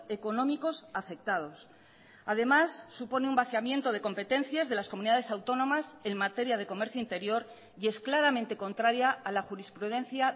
económicos afectados además supone un vaciamiento de competencias de las comunidades autónomas en materia de comercio interior y es claramente contraria a la jurisprudencia